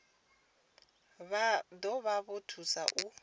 zwa ḓo vha thusa u